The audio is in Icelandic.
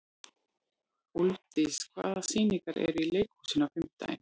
Úlfdís, hvaða sýningar eru í leikhúsinu á fimmtudaginn?